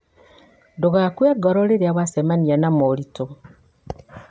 Ndũgakue ngoro rĩrĩa wacemania na moritũ.